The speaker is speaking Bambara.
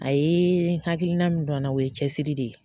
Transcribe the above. A ye hakilina min don an na o ye cɛsiri de ye.